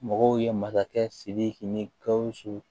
Mɔgɔw ye masakɛ sidiki ni gawusu